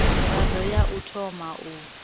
mirado ya u thoma u